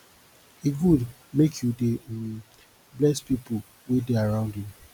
e good make you dey um bless pipu wey dey around you